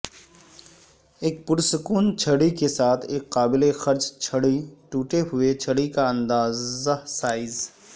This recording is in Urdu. ایک پرسکون چھڑی کے ساتھ ایک قابل خرچ چھڑی ٹوٹے ہوئے چھڑی کا اندازہ سائز